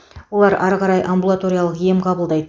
олар ары қарай амбулаториялық ем қабылдайды